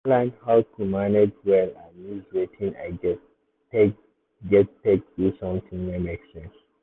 i don learn how to manage well and use wetin i get take get take do something wey make sense.